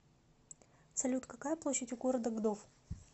салют какая площадь у города гдов